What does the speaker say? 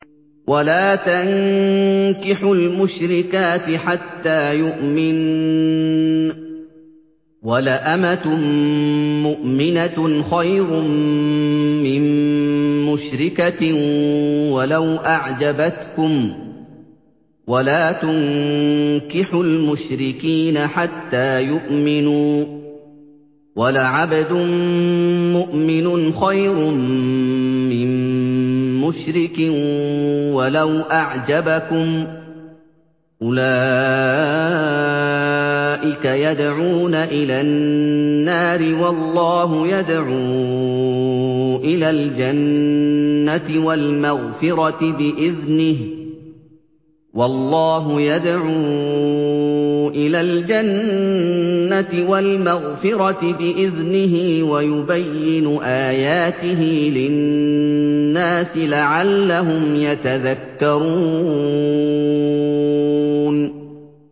وَلَا تَنكِحُوا الْمُشْرِكَاتِ حَتَّىٰ يُؤْمِنَّ ۚ وَلَأَمَةٌ مُّؤْمِنَةٌ خَيْرٌ مِّن مُّشْرِكَةٍ وَلَوْ أَعْجَبَتْكُمْ ۗ وَلَا تُنكِحُوا الْمُشْرِكِينَ حَتَّىٰ يُؤْمِنُوا ۚ وَلَعَبْدٌ مُّؤْمِنٌ خَيْرٌ مِّن مُّشْرِكٍ وَلَوْ أَعْجَبَكُمْ ۗ أُولَٰئِكَ يَدْعُونَ إِلَى النَّارِ ۖ وَاللَّهُ يَدْعُو إِلَى الْجَنَّةِ وَالْمَغْفِرَةِ بِإِذْنِهِ ۖ وَيُبَيِّنُ آيَاتِهِ لِلنَّاسِ لَعَلَّهُمْ يَتَذَكَّرُونَ